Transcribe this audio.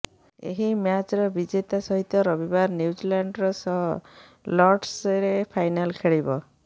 ଏହି ମ୍ୟାଚ୍ର ବିଜେତା ସହିତ ରବିବାର ନ୍ୟୁଜିଲାଣ୍ଡ୍ ସହ ଲର୍ଡସରେ ଫାଇନାଲ୍ ଖେଳିବ